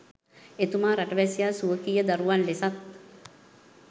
එතුමා රටවැසියා ස්වකීය දරුවන් ලෙසත්